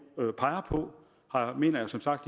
peger på mener jeg som sagt